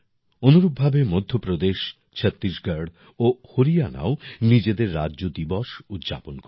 অনুরূপভাবে মধ্যপ্রদেশ ছত্তিশগড় ও হরিয়ানাও নিজেদের রাজ্য দিবস উদযাপন করবে